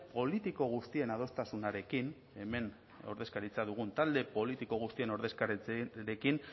politiko guztien adostasunarekin hemen ordezkaritza dugun talde politiko guztien ordezkaritzarekin